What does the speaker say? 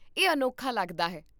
ਇਹ ਅਨੋਖਾ ਲੱਗਦਾ ਹੈ